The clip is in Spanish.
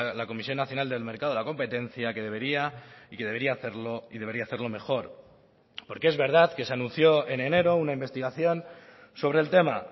la comisión nacional del mercado de la competencia que debería y que debería hacerlo y debería hacerlo mejor porque es verdad que se anunció en enero una investigación sobre el tema